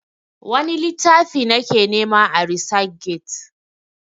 wani littafi na ke nema a resac get?